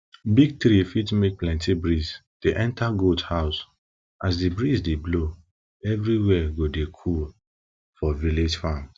big tree fit make plenty breeze dey enter goat house as the breeze dey blow every wia go dey cool for village farm